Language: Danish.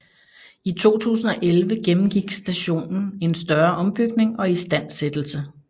I 2011 gennemgik stationen en større ombygning og istandsættelse